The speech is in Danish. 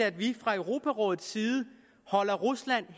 at vi fra europarådets side holder rusland